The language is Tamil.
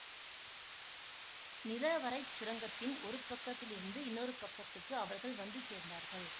நிலவறைச் சுரங்கத்தின் ஒரு பக்கத்திலிருந்து இன்னொரு பக்கத்துக்கு அவர்கள் வந்து சேர்ந்தார்கள்